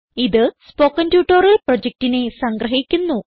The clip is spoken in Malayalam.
ഇത് സ്പോകെൻ ട്യൂട്ടോറിയൽ പ്രൊജക്റ്റിനെ സംഗ്രഹിക്കുന്നു